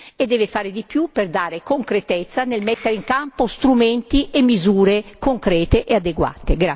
Si deve fare di più per dare concretezza nel mettere in campo strumenti e misure concrete e adeguate.